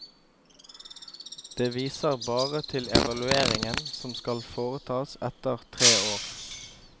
Det viser bare til evalueringen som skal foretas etter tre år.